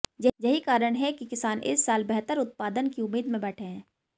यहीं कारण है कि किसान इस साल बेहतर उत्पादन की उम्मीद में बैठे हैं